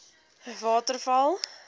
waterval